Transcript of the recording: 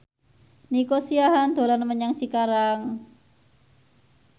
Nico Siahaan dolan menyang Cikarang